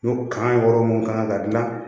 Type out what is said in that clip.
N'o kan wɔɔrɔ mun kan ka dilan